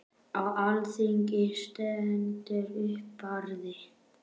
Á alþingi stendur upp Barði